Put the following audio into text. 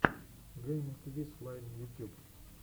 гейминг виз лайн ютюб